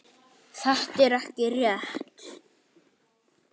Þetta er ekki rétt.